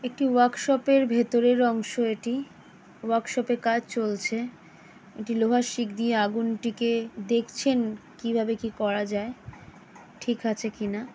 একটি ওয়ার্কশপ -এর ভেতরের অংশ এটি ওয়ার্কশপ -এ কাজ চলছে একটি লোহার শিক দিয়ে আগুনটিকে দেখছেন কিভাবে কি করা যায় ঠিক আছে কিনা।